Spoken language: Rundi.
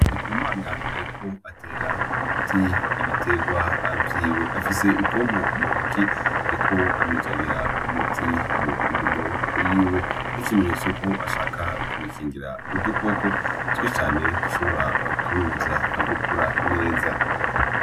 Ndikumana ariko atera umuti ibiterwa vyiwe afise ipompo m'untoki ariko amajagira umuti mundimo yiwe nk’ikimetso ko ashaka kubikingira udukoko twishi cane dushobora kubibuza gukura neza.